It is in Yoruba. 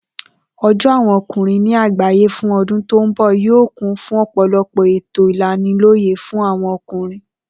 O̩jó̩ àwo̩n o̩kùnrin ní àgbàyé fún o̩dún tó ń bò̩ yóò kún fún ò̩pò̩lo̩pò̩ ètò ìlaniló̩yè̩ fún àwo̩n o̩kùnrin